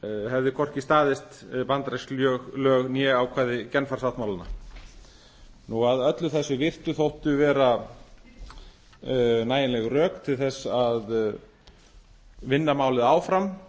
hefði hvorki staðist bandarísk lög ná ákvæði genfar sáttmálanna að öllu þessu virtu þóttu vera nægilega rök til þess að vinna málið áfram